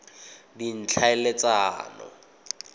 ditlhaeletsano